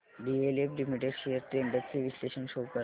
DLF limited shares trends चे विश्लेषण show कर